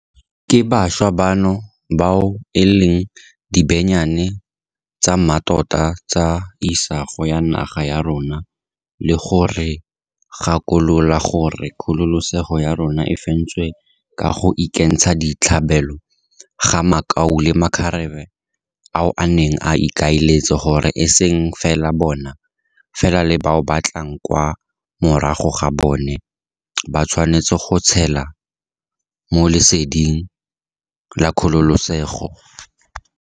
Ke bašwa bano bao e leng dibenyane tsa mmatota tsa isago ya naga ya rona le go re gakolola gore kgololesego ya rona e fentswe ka go ikentsha ditlhabelo ga makau le makgarebe ao a neng a ikaeletse gore eseng fela bona, fela le bao ba tlang kwa morago ga bona, ba tshwanetse go tshela mo leseding la kgololesego.